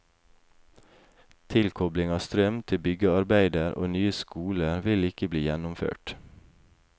Tilkobling av strøm til byggearbeider og nye skoler vil ikke bli gjennomført.